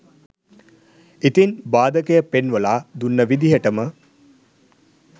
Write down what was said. ඉතින් බාධකය පෙන්වලා දුන්න විදිහටම